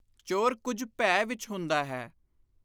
ਚੋਰ ਕੁਝ ਭੈ ਵਿਚ ਹੁੰਦਾ ਹੈ।